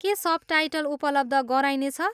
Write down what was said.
के सबटाइटल उपलब्ध गराइनेछ?